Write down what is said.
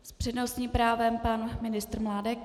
S přednostním právem pan ministr Mládek.